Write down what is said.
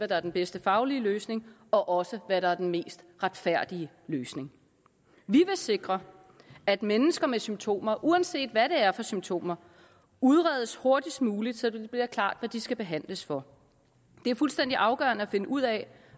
der er den bedste faglige løsning og også hvad der er den mest retfærdige løsning vi vil sikre at mennesker med symptomer uanset hvad det er for symptomer udredes hurtigst muligt så det bliver klart hvad de skal behandles for det er fuldstændig afgørende at finde ud af